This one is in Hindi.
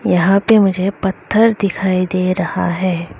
यहां पर मुझे पत्थर दिखाई दे रहा है।